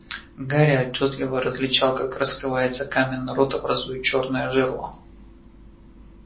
гарри отчётливо различал как раскрывается каменный рот образуя чёрное жерло